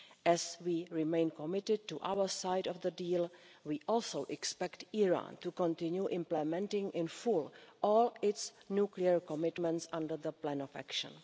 As we remain committed to our side of the deal we also expect Iran to continue implementing in full all its nuclear commitments under the plan of action.